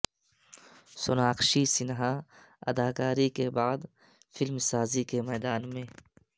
سوناکشی سنہا اداکاری کے بعد فلم سازی کے میدان میں